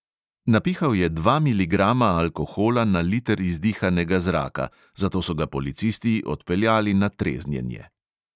Napihal je dva miligrama alkohola na liter izdihanega zraka, zato so ga policisti odpeljali na treznjenje.